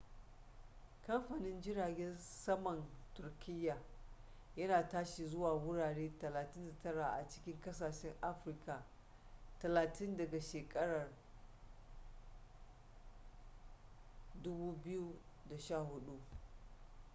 kamfanin jiragen saman turkiya yana tashi zuwa wurare 39 a cikin kasashen afirka 30 daga shekarar 2014